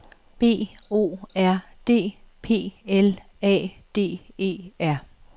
B O R D P L A D E R